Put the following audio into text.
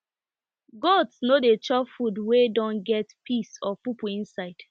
goats no dey chop food wey don get piss or poo poo inside